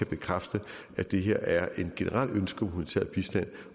bekræfte at det her er et generelt ønske om humanitær bistand